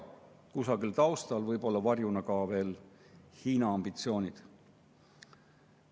Kusagil seal taustal võivad varjuna olla ka veel Hiina ambitsioonid.